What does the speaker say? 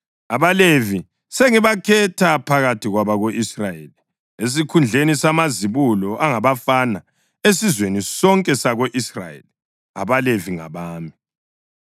“AbaLevi sengibakhetha phakathi kwabako-Israyeli esikhundleni samazibulo angabafana esizweni sonke sako-Israyeli. AbaLevi ngabami,